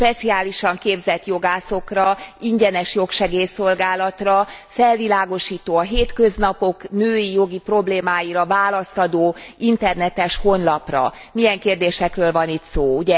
Speciálisan képzett jogászokra, ingyenes jogsegélyszolgálatra, felvilágosító, a hétköznapok női jogi problémáira választ adó internetes honlapra. Milyen kérdésekről van itt szó?